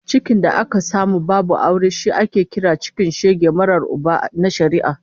Cikin da aka samu babu aure shi ake kira cikin shege marar Uba na shari'a